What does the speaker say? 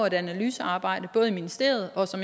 et analysearbejde både i ministeriet og så